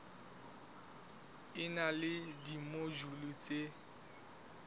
e na le dimojule tse